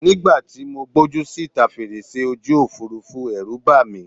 Nígbà tí gbójú síta fèrèsé ojú Òfurufú, Ẹ̀rù bà mí.